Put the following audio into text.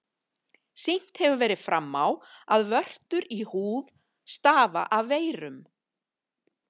Sýnt hefur verið fram á, að vörtur í húð stafa af veirum.